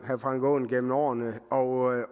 herre frank aaen gennem årene og